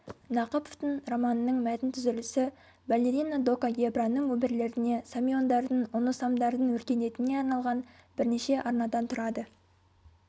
нақыповтың романының мәтін түзілісі балерина дока гебраның өмірлеріне самиондардың оносамдардың өркениетіне арналған бірнеше арнадан тұрады